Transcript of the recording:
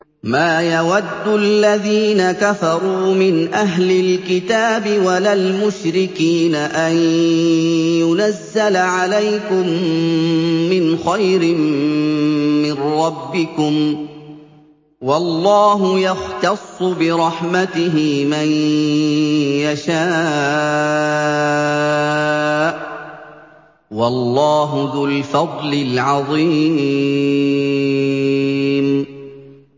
مَّا يَوَدُّ الَّذِينَ كَفَرُوا مِنْ أَهْلِ الْكِتَابِ وَلَا الْمُشْرِكِينَ أَن يُنَزَّلَ عَلَيْكُم مِّنْ خَيْرٍ مِّن رَّبِّكُمْ ۗ وَاللَّهُ يَخْتَصُّ بِرَحْمَتِهِ مَن يَشَاءُ ۚ وَاللَّهُ ذُو الْفَضْلِ الْعَظِيمِ